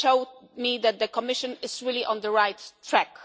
They show me that the Commission is really on the right